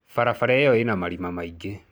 Barabara ĩyo ĩna marima maingĩ.